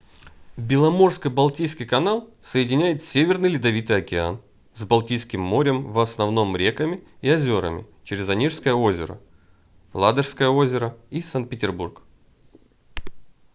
беломорско-балтийский канал соединяет северный ледовитый океан с балтийским морем в основном реками и озерами через онежское озеро ладожское озеро и санкт-петербург